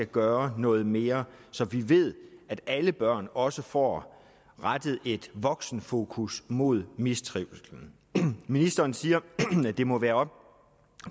gøre noget mere så vi ved at alle børn også får rettet et voksenfokus mod mistrivslen ministeren siger at det må være op